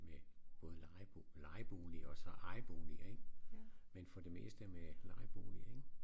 Med både leje lejebolig og så ejeboliger ik men for det meste med lejeboliger ik